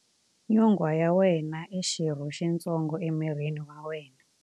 Nyonghwa ya wena i xirho xitsongo emirini wa wena.